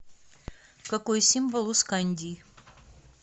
какой символ у скандий